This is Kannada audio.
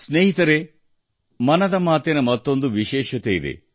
ಸ್ನೇಹಿತರೇ ಮನದ ಮಾತಿನ ಮತ್ತೊಂದು ವಿಶೇಷತೆಯಿದೆ